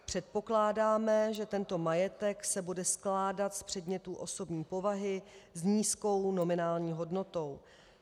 Předpokládáme, že tento majetek se bude skládat z předmětů osobní povahy s nízkou nominální hodnotou.